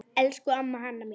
Elsku amma Hanna mín.